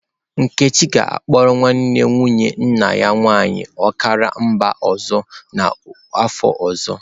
Nkechi ga-akpọrọ nwanne nwunye nna ya nwaanyị ọkara mba ọzọ n'afọ ọzọ.